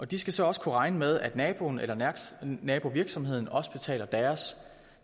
de skal så også kunne regne med at naboen eller nabovirksomheden også betaler deres